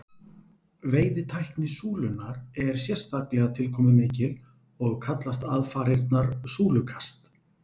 veiðitækni súlunnar er sérstaklega tilkomumikil og kallast aðfarirnar súlukast